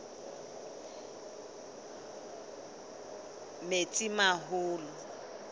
metsimaholo